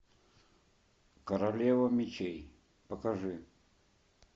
королева мечей покажи